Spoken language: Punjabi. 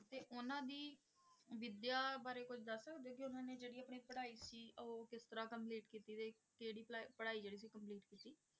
ਤੇ ਉਹਨਾਂ ਦੀ ਵਿਦਿਆ ਬਾਰੇ ਕੁੱਝ ਦੱਸ ਸਕਦੇ ਹੋ ਕਿ ਉਹਨਾਂ ਨੇ ਜਿਹੜੀ ਆਪਣੀ ਪੜ੍ਹਾਈ ਸੀ ਉਹ ਕਿਸ ਤਰ੍ਹਾਂ complete ਕੀਤੀ ਸੀ, ਕਿਹੜੀ ਭਲਾਈ ਪੜ੍ਹਾਈ ਜਿਹੜੀ ਸੀ complete ਕੀਤੀ ਸੀ